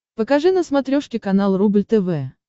покажи на смотрешке канал рубль тв